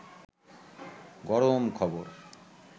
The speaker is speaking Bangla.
গরম খবর